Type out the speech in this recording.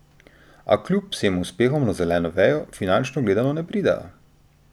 A kljub vsem uspehom na zeleno vejo, finančno gledano, ne pridejo.